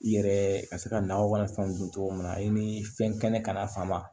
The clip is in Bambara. I yɛrɛ ka se ka nakɔ ni fɛnw dun cogo min na i ni fɛn kɛnɛ kana faamu wa